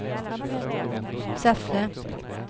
Säffle